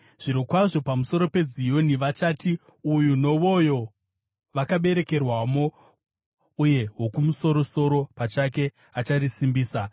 Zvirokwazvo, pamusoro peZioni vachati, “Uyu nowoyo vakaberekerwamo, uye Wokumusoro-soro pachake acharisimbisa.”